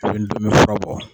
A bɛɛ bi ndomi fura bɔ.